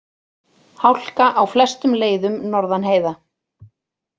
Hálka á flestum leiðum norðan heiða